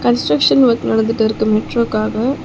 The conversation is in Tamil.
கன்ஸ்ட்ரக்சன் வொர்க் நடந்துட்டு இருக்கு மெட்ரோக்காக .